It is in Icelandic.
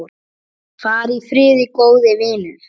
Far í friði, góði vinur.